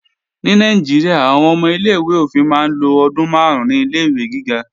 Ní Nàìjíríà, àwọn ọmọ ilé-ìwé òfin máa ń lo ọdún máàrún ní Ilé-ìwé gíga